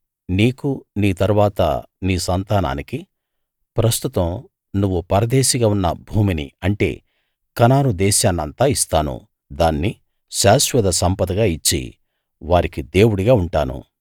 నీకూ నీ తరువాత నీ సంతానానికీ ప్రస్తుతం నువ్వు పరదేశిగా ఉన్న భూమిని అంటే కనాను దేశాన్నంతా ఇస్తాను దాన్ని శాశ్వత సంపదగా ఇచ్చి వారికి దేవుడిగా ఉంటాను